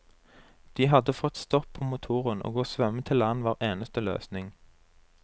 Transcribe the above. De hadde fått stopp på motoren, og å svømme til land var eneste løsning.